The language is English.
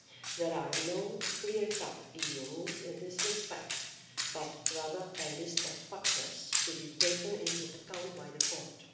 There are no clear cut EU rules in this respect but rather a list of factors to be taken into account by the court.